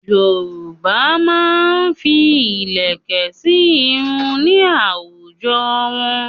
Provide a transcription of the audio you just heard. Yorùbá máa ń fi ilẹ̀kẹ̀ sí irun ní àwùjọ wọn.